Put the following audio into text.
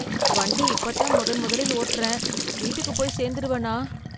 வண்டி இப்பதான் முதன் முதலில் ஓட்றேன் வீட்டுக்கு போய் சேர்ந்துடுவேனா!